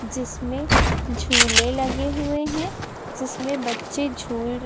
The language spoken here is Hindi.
जिसमें झूले लगे हुए हैं जिसमें बच्चे झूल--